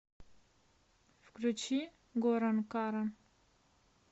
включи горан каран